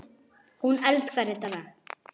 Hún elskar þetta lag!